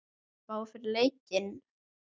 Spá fyrir leikinn?